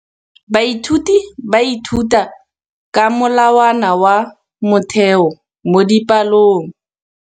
Baithuti ba ithuta ka molawana wa motheo mo dipalong.